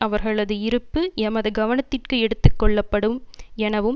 அவர்களது இருப்பு எமது கவனத்திற்கு எடுத்துக்கொள்ளப்படும் எனவும்